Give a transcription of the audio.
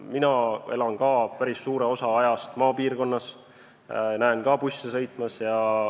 Mina elan ka päris suure osa ajast maapiirkonnas, näen ka busse sõitmas.